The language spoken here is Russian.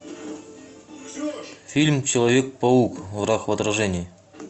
фильм человек паук враг в отражении